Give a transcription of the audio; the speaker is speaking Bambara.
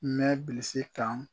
N mɛ bilisi kan